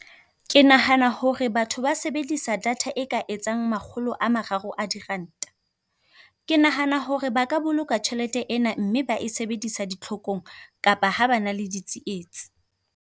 Ke nahana hore batho ba sebedisa data e ka etsang makgolo a mararo a diranta. Ke nahana hore ba ka boloka tjhelete ena, mme ba e sebedisa ditlhokong kapa ha ba na le ditsietsi.